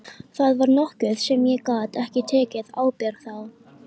Það var nokkuð sem ég gat ekki tekið ábyrgð á.